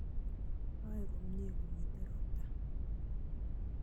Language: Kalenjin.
Oei komye komitei robta